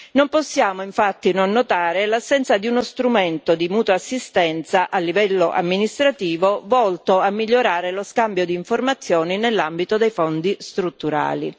Non possiamo infatti non notare l'assenza di uno strumento di mutua assistenza a livello amministrativo, volto a migliorare lo scambio di informazioni nell'ambito dei fondi strutturali.